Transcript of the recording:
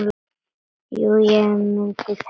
Jú ég myndi telja það.